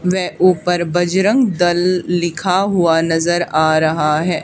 वे ऊपर बजरंग दल लिखा हुआ नजर आ रहा है।